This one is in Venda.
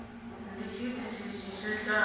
ndi tshiitisi itshi tsho itaho